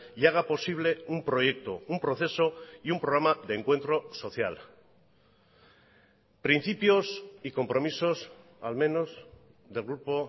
y haga posible un proyecto un proceso y un programa de encuentro social principios y compromisos al menos del grupo